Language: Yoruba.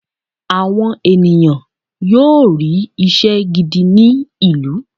àwọn ènìyàn yóò ri iṣẹ gidí ní ìlú